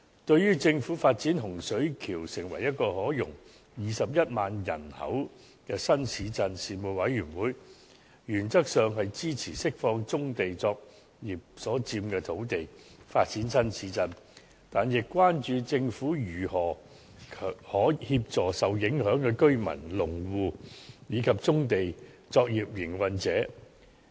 對於政府發展洪水橋成為一個可容21萬人口的新市鎮，事務委員會原則上支持釋放棕地作業所佔的土地作發展新市鎮之用，但亦關注政府如何協助受影響的居民、農戶，以及棕地作業營運者。